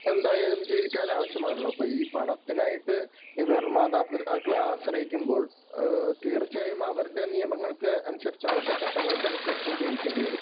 എന്തായാലും ജീവിക്കാൻ ആവശ്യമാണല്ലോ. അപ്പോ ഈ പണത്തിനായിട്ട് ഇവർ മാതാപിതാക്കളെ ആശ്രയിക്കുമ്പോൾ തീർച്ചയായും അവരുടെ നിയമങ്ങൾക്കനുസരിച്ച്, അവരുടെ ചട്ടങ്ങൾക്കനുസരിച്ചും ജീവിക്കേണ്ടി വരും.